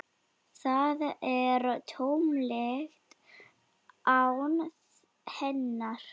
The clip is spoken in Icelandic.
Það er tómlegt án hennar.